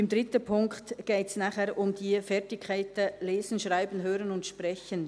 Beim dritten Punkt geht es um die Fertigkeiten lesen, schreiben, hören und sprechen.